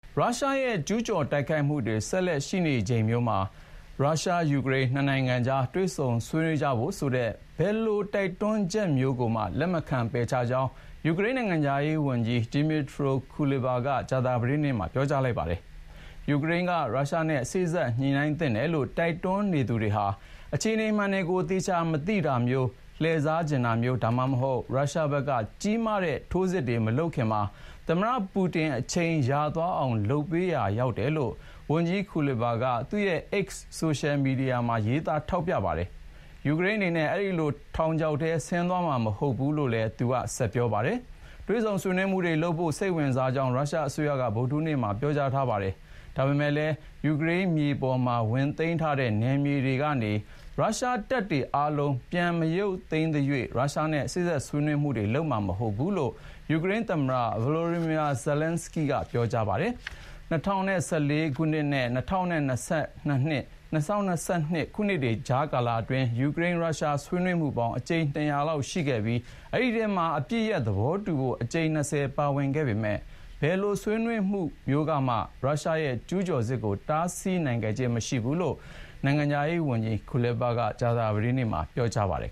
ရုရှားရဲ့ ကျူးကျော်တိုက်ခိုက်မှုတွေ ဆက်ရှိနေချိန်မျိုးမှာ ရုရှား−ယူကရိန်း နှစ်နိုင်ငံကြား တွေ့ဆုံ ဆွေးနွေးကြဖို့ဆိုတဲ့ ဘယ်လို တိုက်တွန်းချက်မျိုးကိုမှ လက်မခံ ပယ်ချကြောင်း ယူကရိန်းနိုင်ငံခြားရေးဝန်ကြီး Dmytro Kuleba က ကြာသပတေးနေ့မှာ ပြောကြားလိုက်ပါတယ်။ ယူကရိန်းက ရုရှားနဲ့ စေ့စပ်ညှိနှိုင်းသင့်တယ်လို့ တိုက်တွန်းနေသူတွေဟာ အခြေအနေမှန်ကို သေချာမသိတာမျိုး၊ လှည့်စားချင်တာမျိုး ဒါမှမဟုတ် ရုရှားဘက်က ကြီးမားတဲ့ထိုးစစ်တွေ မလုပ်ခင်မှာ သမ္မတပူတင် အချိန်ရသွားအောင် လုပ်ပေးရာရောက်နေတယ်လို့ ဝန်ကြီး Kuleba က သူ့ရဲ့ X ဆိုရှယ်မီဒီယာမှာ ရေးသားထောက်ပြပါတယ်။ ယူကရိန်းအနေနဲ့ အဲဒီလို ထောက်ချောက်ထဲ ဆင်းသွားမှာမဟုတ်ဘူးလို့လည်း သူက ဆက်ပြောပါတယ်။ တွေ့ဆုံဆွေးနွေးမှုတွေလုပ်ဖို့ စိတ်ဝင်စားကြောင်း ရုရှားအစိုးရက ဗုဒ္ဓဟူးနေ့က ပြောထားပါတယ်။ ဒါပေမယ့်လည်း ယူကရိန်းမြေပေါ်မှာ ဝင်သိမ်းထားတဲ့ နယ်မြေတွေကနေ ရုရှားတပ်တွေအားလုံး ပြန်မရုပ်သိမ်းသရွေ့ ရုရှားနဲ့ စေ့စပ်ဆွေးနွေးလိမ့်မှာ မဟုတ်ဘူးလို့ ယူကရိန်းသမ္မတ Volodymyr Zelenskyy က ပြောပါတယ်။ ၂၀၁၄ ခုနှစ်နဲ့ ၂၀၂၂ ခုနှစ်ကြားကာလအတွင်း ယူကရိန်း−ရုရှား ဆွေးနွေးမှုပေါင်း အကြိမ် ၂၀၀ လောက်ရှိခဲ့ပြီး အဲဒီထဲမှာ အပစ်ရပ်သဘောတူဖို့ အကြိမ် ၂၀ ပါဝင်ခဲ့ပေမယ့်ဘယ်လိုဆွေးနွေးမှုမျိုးကမှ ရုရှားရဲ့ကျူးကျော်စစ်ကို တားဆီးနိုင်ခဲ့ခြင်းမရှိဘူးလို့ နိုင်ငံခြားရေးဝန်ကြီး Kuleba က ကြာသပတေးနေ့မှာ ပြောပါတယ်